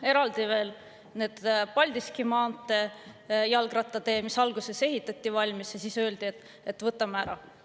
Eraldi teema on Paldiski maantee jalgrattatee, mis alguses ehitati valmis ja siis öeldi, et võtame ära.